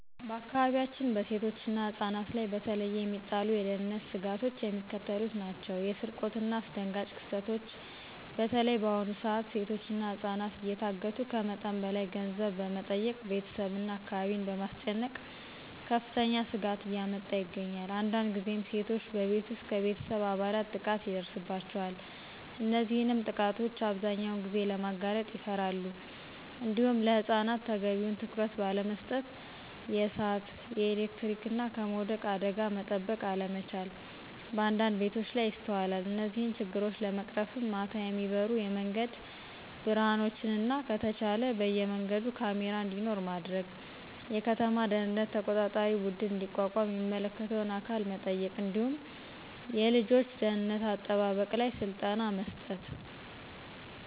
በአካባቢያችን በሴቶችና ህፃናት ላይ በተለየ የሚጣሉ የደህንነት ስጋቶች የሚከተሉት ናቸው። የስርቆትናየአስደንጋጭ ክስተቶች (በተለይ በአሁኑ ሰዓት ሴቶችና ህፃናት እየታገቱ ከመጠን በላይ ገንዘብ በመጠየቅ ቤተሰብና አካባቢን በማስጨነቅ ከፍተኛ ስጋት እያመጣ ይገኛል። አንዳንድ ጊዜም ሴቶች በቤት ውስጥ ከቤተሰብ አባላት ጥቃት ይደርስባቸዋል። እነዚህንም ጥቃቶች አብዛኛውን ጊዜ ለማጋለጥ ይፈራሉ። እንዲሁም ለህፃናት ተገቢውን ትኩረት ባለመስጠት የእሳት፣ የኤሌክትሪክና ከመውደቅ አደጋ መጠበቅ አለመቻል በአንዳንድ ቤቶች ላይ ይስተዋላል። እነዚህን ችግሮች ለመቅረፍም ማታ የሚበሩ የመንገድ ብርሀኖችንና ከተቻለ በየመንገዱ ካሜራ እንዲኖር ማድረግ፣ የከተማ ደህንነት ተቆጣጣሪ ቡድን እንዲቋቋም የሚመለከተውን አካል መጠየቅ እንዲሁም የልጆች ደህንነት አጠባበቅ ላይ ስልጠና መስጠት